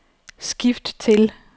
skift til